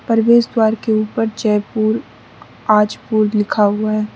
परवेश द्वार के ऊपर जयपुर आजपूर लिखा हुआ है।